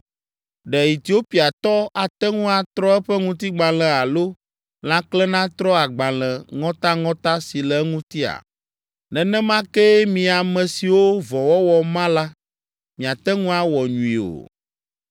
Ɖe Etiopiatɔ ate ŋu atrɔ eƒe ŋutigbalẽ alo lãkle natrɔ agbalẽ ŋɔtaŋɔta si le eŋutia? Nenema kee mi ame siwo vɔ̃wɔwɔ ma la, miate ŋu awɔ nyui o.”